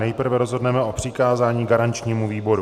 Nejprve rozhodneme o přikázání garančnímu výboru.